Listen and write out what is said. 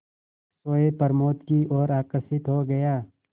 सोए प्रमोद की ओर आकर्षित हो गया